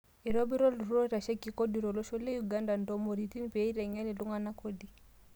Eitobira oltururr oitasheki kodi tolosho le Uganda ntumoritin pee eiteng'en iltung'ana kodi